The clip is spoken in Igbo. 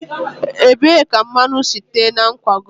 ebee ka mmanụ si tee na nkwago a?